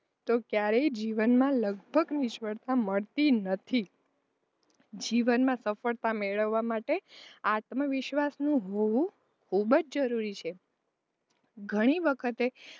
તો ક્યારેય જીવનમાં લગભગ નિષ્ફળતા મળતી નથી જીવનમાં સફળતા મેળાવવા માટે આત્મવિશ્વાસ નું હોવું ખૂબ જ જરૂરી છે ઘણી વખતે,